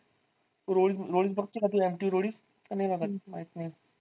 तू roadies बघते का तू mtv roadies? का नाही बघत माहित नाही.